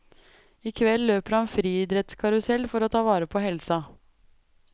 I kveld løper han friidrettskarusell for å ta vare på helsa.